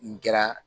N kɛra